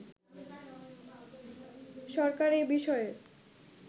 সরকার এ বিষয়ে